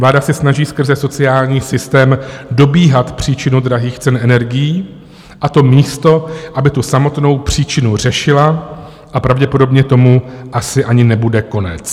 Vláda se snaží skrze sociální systém dobíhat příčinu drahých cen energií, a to místo aby tu samotnou příčinu řešila, a pravděpodobně tomu asi ani nebude konec.